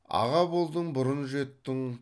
аға болдың бұрын жеттің